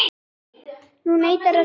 Hún neitar að deyja.